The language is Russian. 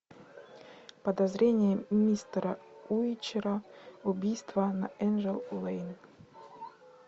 подозрения мистера уичера убийство на энджел лэйн